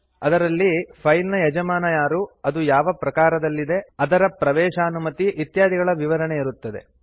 ಅದರಲ್ಲಿ ಫೈಲ್ ನ ಯಜಮಾನ ಯಾರು ಅದು ಯಾವ ಪ್ರಕಾರದಲ್ಲಿದೆ ಅದರ ಪ್ರವೇಶಾನುಮತಿ ಇತ್ಯಾದಿಗಳ ವಿವರಣೆ ಇರುತ್ತದೆ